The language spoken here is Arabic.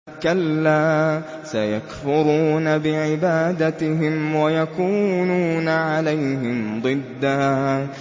كَلَّا ۚ سَيَكْفُرُونَ بِعِبَادَتِهِمْ وَيَكُونُونَ عَلَيْهِمْ ضِدًّا